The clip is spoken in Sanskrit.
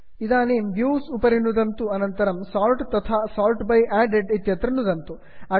इदानीं व्यूज व्यूव्स् उपरि नुदन्तु अनन्तरं सोर्ट् सार्ट् तथा sort by added sort by added इत्यत्र नुदन्तु